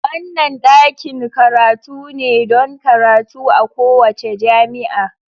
Wannan ɗakin karatu ne don karatu a kowace jami'a.